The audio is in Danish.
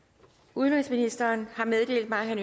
udenrigsministeren har meddelt mig at